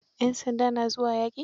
Yan sanda na zuwa yaƙi?